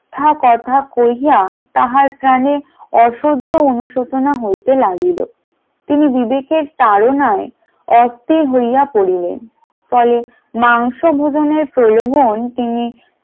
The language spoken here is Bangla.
মিথ্যা কথা কইয়া তাহার প্রাণে অসহ্য অনুশোচনা হইতে লাগিল, তিনি বিবেকের তাড়নায় অস্থির হইয়া পড়িলেন ফলে মাংস ভোজন এর প্রলোভন তিনি